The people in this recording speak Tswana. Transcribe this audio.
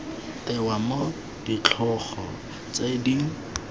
tewa mo ditlhogo tse di